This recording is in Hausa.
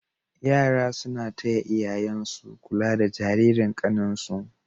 yara suna taya iyayansu kula da Jaririn kanin su